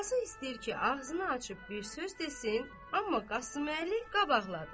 Qazı istəyir ki, ağzını açıb bir söz desin, amma Qasıməli qabaqladı.